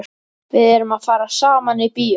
Við erum að fara saman í bíó!